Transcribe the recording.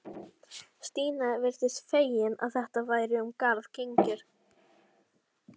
Stína virtist fegin að þetta væri um garð gengið.